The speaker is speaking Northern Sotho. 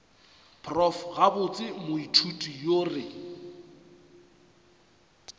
prof gabotse moithuti yo re